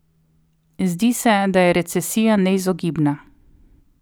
Zdi se, da je recesija neizogibna.